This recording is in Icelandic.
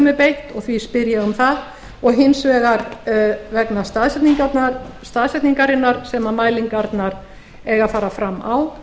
er beitt og því spyr ég um það og hins vegar vegna staðsetningarinnar sem mælingarnar eiga að fara fram á